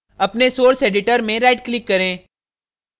अपने source editor में right click करें